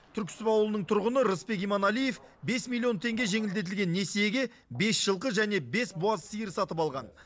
түрксіб ауылының тұрғыны ырысбек иманалиев бес миллион теңге жеңілдетілген несиеге бес жылқы және бес буаз сиыр сатып алған